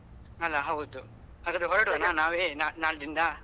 ಅಲಾ ಹೌದು ಹಾಗಾದ್ರೆ ಹೊರಡುವನ ನಾವೇ ನಾಳ್ದಿಂದ?